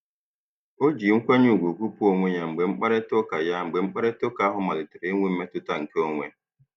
O ji nkwanye ùgwù gụpụ onwe ya mgbe mkparịtaụka ya mgbe mkparịtaụka ahụ malitere inwe mmetụta nke onwe.